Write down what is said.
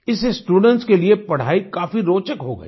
इससे स्टूडेंट्स के लिये पढ़ाई काफी रोचक हो गयी